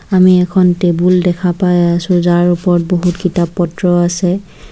আমি এখন টেবুল দেখা পাই আছোঁ যাৰ ওপৰত বহুত কিতাপ-পত্ৰ আছে।